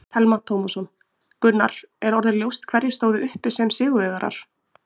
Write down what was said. Telma Tómasson: Gunnar, er orðið ljóst hverjir stóðu uppi sem sigurvegarar?